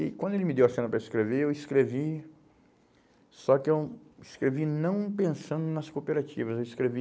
E quando ele me deu a cena para escrever, eu escrevi, só que eu escrevi não pensando nas cooperativas, eu escrevi